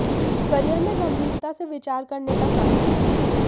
career में गंभीरता से विचार करने का समय है